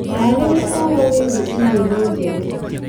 Ndarĩria ũhoro wĩgiĩ i-mīrū njerũ